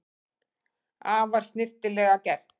Afar snyrtilega gert